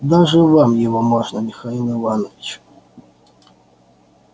даже вам его можно михаил иванович